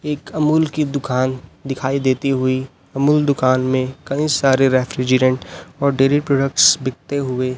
एक अमूल की दुकान दिखाई देती हुई अमूल दुकान में कहीं सारे रेफ्रिजरेटं डेरी प्रॉडक्ट्स बिकते हुए--